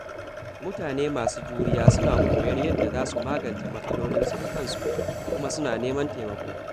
Mutane masu juriya suna koyon yadda za su magance matsalolinsu da kansu, kuma suna neman taimako.